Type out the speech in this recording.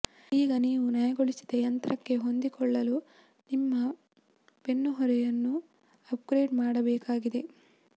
ಈಗ ನೀವು ನಯಗೊಳಿಸಿದ ಯಂತ್ರಕ್ಕೆ ಹೊಂದಿಕೊಳ್ಳಲು ನಿಮ್ಮ ಬೆನ್ನುಹೊರೆಯನ್ನು ಅಪ್ಗ್ರೇಡ್ ಮಾಡಬೇಕಾಗಿದೆ